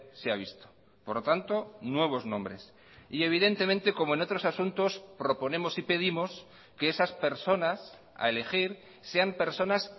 se ha visto por lo tanto nuevos nombres y evidentemente como en otros asuntos proponemos y pedimos que esas personas a elegir sean personas